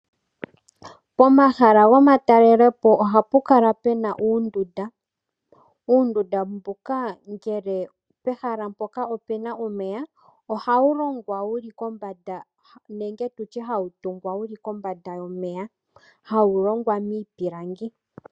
Pomahala gokutalalepo ohapu kala puna uundunda. Uundunda mbuka, ngele pehala mpoka opuna omeya, ohawu longwa wu li kombanda, nenge tutye hawu tungwa wu li kombanda yomeya, hawu longwa miipilangi.